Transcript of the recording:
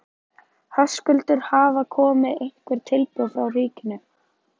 Höskuldur: Hafa komið einhver tilboð frá ríkinu?